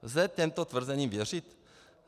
Lze těmto tvrzením věřit?